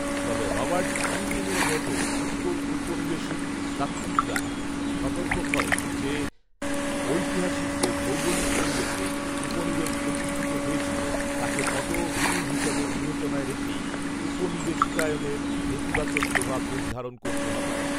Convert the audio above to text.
তবে রবার্ট ইয়ূংয়ের মত উত্তর উপনিবেশিক তাত্ত্বিকরা সতর্ক করেন যে, যে ঐতিহাসিক ও ভৌগোলিক পরিবেশে উপনিবেশ প্রতিষ্ঠিত হয়েছিলো তাকে পটভূমি হিসাবে বিবেচনায় রেখেই উপনিবেশিকায়নের নেতিবাচক প্রভাব নির্ধারণ করতে হবে